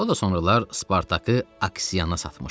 O da sonralar Spartakı Aksiyana satmışdı.